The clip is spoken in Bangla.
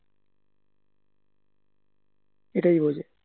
এটাই বোঝে